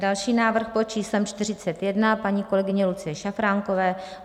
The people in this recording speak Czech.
Další návrh, pod číslem 41, paní kolegyně Lucie Šafránkové.